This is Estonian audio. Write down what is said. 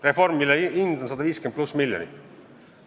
Reform, mille hind on 150+ miljonit.